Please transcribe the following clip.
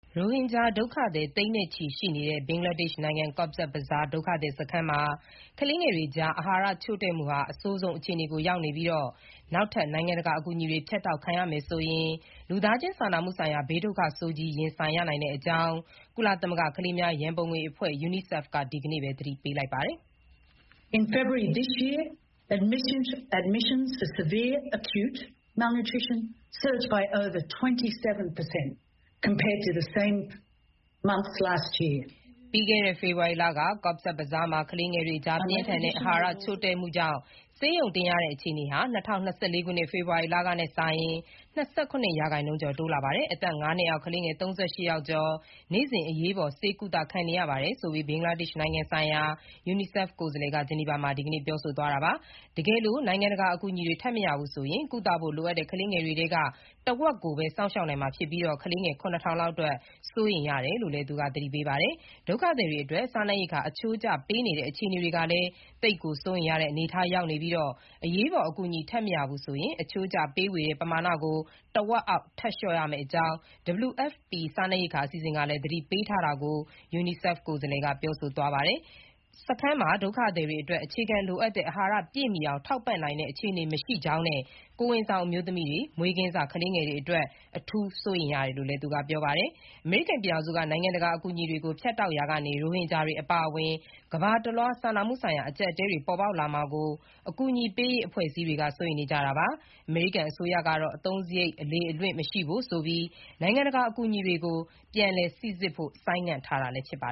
ရိုဟင်ဂျာဒုက္ခသည်သိန်းနဲ့ချီရှိနေတဲ့ ဘင်္ဂလားဒေ့ရှ်နိုင်ငံ Cox’s Bazar ဒုက္ခသည်စခန်းမှာ ကလေးငယ် တွေကြား အာဟာရချို့တဲ့မှုဟာ အဆိုးဆုံးအခြေအနေကိုရောက်နေပြီး နောက်ထပ် နိုင်ငံတကာ အကူအညီတွေ ဖြတ်တောက်ခံရမယ်ဆိုရင် လူသားချင်းစာနာမှုဆိုင်ရာ ဘေးဒုက္ခဆိုးကြီးကို ရင်ဆိုင်ရနိုင်ကြောင်း ကုလသမဂ္ဂ ကလေးများ ရံပုံငွေအဖွဲ့ UNICEF က ဒီနေ့ သတိပေးပါတယ်။ ပြီးခဲ့တဲ့ ဖေဖေါ်ဝါရီလက Cox’s Bazar မှာ ကလေးငယ်တွေကြား ပြင်းထန်တဲ့အာဟာရချို့တဲ့မှုကြောင့် ဆေးရုံတင်ရတဲ့အခြေအနေဟာ ၂၀၂၄ ခုနှစ် ဖေဖေါ်ဝါရီလကနဲ့စာရင် (၂၇) ရာခိုင်နှုန်းကျော် တိုးလာပါ တယ်။ အသက် (၅) နှစ်အောက် ကလေးငယ် (၃၈) ယောက်ကျော် နေ့စဉ် အရေးပေါ် ဆေးကုသခံနေရ ပါတယ်ဆိုပြီး ဘင်္ဂလားဒေ့ရှ်နိုင်ငံဆိုင်ရာ UNICEF ကိုယ်စားလှယ် Rana Flowers က ဂျနီဗာမှာ ဒီနေ့ ပြောသွားတာပါ။ တကယ်လို့ နိုင်ငံတကာအကူအညီတွေ ထပ်မရဘူးဆိုရင် ကုသဖို့လိုအပ်တဲ့ ကလေးငယ်တွေထဲက တဝက်ကိုပဲ စောင့်ရှောက်နိုင်မှာဖြစ်ပြီး ကလေးငယ် (၇,၀၀၀) လောက်အတွက် စိုးရိမ်ရတယ်လို့လည်း သူက သတိပေးပါတယ်။ ဒုက္ခသည်တွေအတွက် စားနပ်ရိက္ခာ အချိုးကျပေးနေတဲ့ အခြေအနေကလည်း သိပ်ကို စိုးရိမ်ရတဲ့ အနေအထားရောက်နေပြီး အရေးပေါ် အကူအညီထပ်မရဘူးဆိုရင် အချိုးကျဝေပေးတဲ့ပမာဏကို တဝက်အောက်ထပ်လျော့ရမယ့်အကြောင်း WFP ကမ္ဘာ့စားနပ်ရိက္ခာအစီအစဉ်က သတိပေးထားတာကို လည်း Rana Flowers က ပြောဆိုသွားပါတယ်။ စခန်းမှာ ဒုက္ခသည်တွေအတွက် အခြေခံလိုအပ်တဲ့ အာဟာရပြည့်မှီအောင် ထောက်ပံ့နိုင်တဲ့အခြေအနေမရှိကြောင်းနဲ့ ကိုယ်ဝန်ဆောင်အမျိုးသမီးတွေနဲ့ မေးကင်းစ ကလေးငယ်တွေအတွက် အထူးစိုးရိမ်ရတယ်လို့လည်း ပြောပါတယ်။ အမေရိကန်အစိုးရက နိုင်ငံတကာ အကူအညီတွေကို ဖြတ်တောက်ရာက ရိုဟင်ဂျာတွေအပါအဝင် ကမ္ဘာတလွှား စာနာမှုဆိုင်ရာ အကျပ်အတည်းတွေ ပေါ်ပေါက်လာမှာကို အကူအညီပေးရေးအဖွဲ့တွေ စိုးရိမ်နေကြတာပါ။ အမေရိကန်အစိုးရကတော့ အသုံးစရိတ်တွေ အလေအလွင့်မရှိဖို့ဆိုပြီး နိုင်ငံတကာ အကူအညီတွေကို ပြန်လည်စိစစ်ဖို့ ဆိုင်းငံ့ထားတာ ဖြစ်ပါ